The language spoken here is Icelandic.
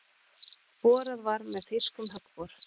Borað var með þýskum höggbor.